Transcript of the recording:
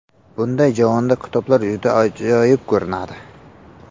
Bunday javonda kitoblar juda ajoyib ko‘rinadi.